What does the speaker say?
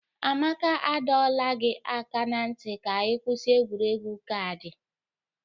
Amaka, adọla m gị aka na ntị ka ị kwụsị egwuregwu kaadị!